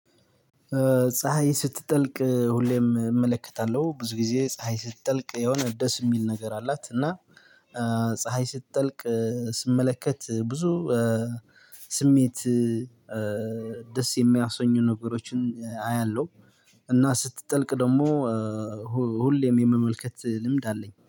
ፀሀይ ስትጠልቅ ሁሌም እመለከታለሁ ብዙ ጊዜ ፀሀይ ስትጠልቅ የሆነ ደስ እሚል ነገር አላት እና ፀሀይ ስትጠልቅ ስመለከት ብዙ ስሜት ደስ የሚያሰኙ ነገሮችን አያለሁ። እና ስትጠልቅ ደግሞ ሁሌም የመመልከት ልምድ አለኝ